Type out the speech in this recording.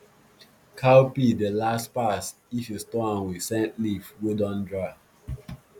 cowpea dey last pass if you store am with scent leaf wey dun dry